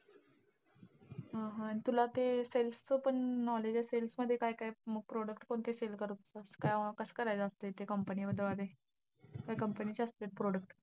हा हा! तुला ते sells चं पण knowledge असेल ना? ते काय काय product कोणते sell करतात काय कसं करायचं असतंय ते company वाले, का company चे असत्यात product.